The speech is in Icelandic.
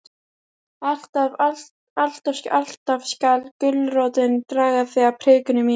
Alltaf, alltaf skal gulrótin draga þig að prikinu mínu.